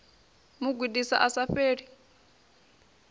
mu gudisa a sa fheli